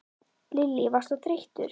Lillý: Varst þú þreyttur?